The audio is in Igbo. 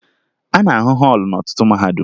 A na-ahụ họọlụ n'ọtụtụ mahadum